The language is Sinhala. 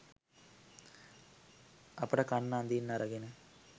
අපට කන්න අඳින්න අරගෙන